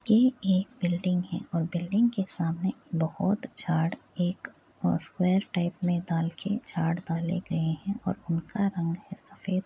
ये एक बिल्डिंग है और बिल्डिंग के सामने बहोत एक स्क्वायर टाइप में के दाले गए हैं और उनका रंग है सफ़ेद --